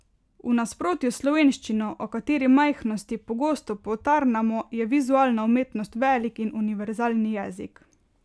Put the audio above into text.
V nasprotju s slovenščino, o katere majhnosti pogosto potarnamo, je vizualna umetnost velik in univerzalen jezik.